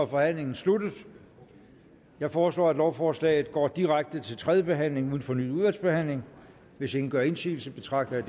forhandlingen sluttet jeg foreslår at lovforslaget går direkte til tredje behandling uden fornyet udvalgsbehandling hvis ingen gør indsigelse betragter jeg